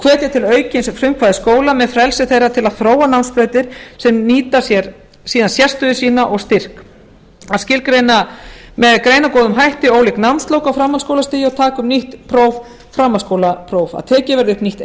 hvetja til aukins frumkvæðis skóla með frelsi þeirra til að þróa námsbrautir sem nýta sér síðan sérstöðu sína og styrk að skilgreina með greinargóðum hætti ólík námslok á framhaldsskólastigi og taka upp nýtt próf framhaldsskólapróf að tekið verði upp nýtt